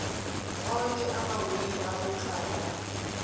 onke amawili akuqala